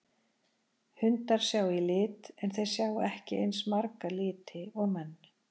Hundar sjá í lit en þeir sjá ekki eins marga liti og menn.